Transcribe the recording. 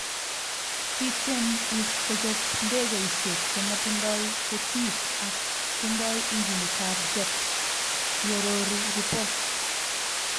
Kitiem IS 'kochob ndekeisiek che matindoi ketik ako tindoi injinitab jet ,' iorori ripot